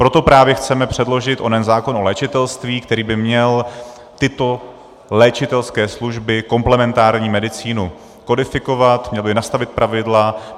Proto právě chceme předložit onen zákon o léčitelství, který by měl tyto léčitelské služby, komplementární medicínu kodifikovat nebo jí nastavit pravidla.